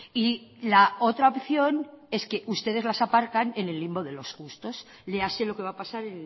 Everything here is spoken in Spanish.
y la otra opción es que ustedes las aparcan en el limbo de los justos léase lo que va a pasar